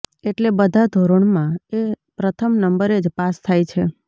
એટલે બધા ધોરણમાં એ પ્રથમ નંબરે જ પાસ થાય છે